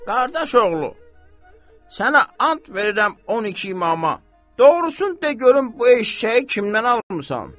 Qardaş oğlu, sənə and verirəm 12 İmama, doğrusunu de görüm bu eşşəyi kimdən almısan?